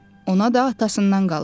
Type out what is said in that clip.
Ona da atasından qalıb.